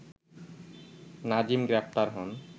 নাজিম গ্রেপ্তার হন